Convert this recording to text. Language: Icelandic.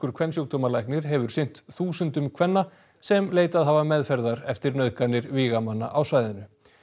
kvensjúkdómalæknir hefur sinnt þúsundum kvenna sem leitað hafa meðferðar eftir nauðganir vígamanna á svæðinu